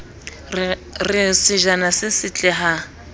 re sejana se setle ha